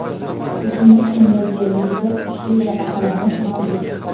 Bugungi kunda yer yuzida kuchli tabaqalanish mavjud.